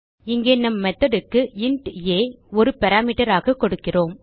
இங்கே நம் மெத்தோட் க்கு இன்ட் ஆ ஒரு பாராமீட்டர் ஆக கொடுக்கிறோம்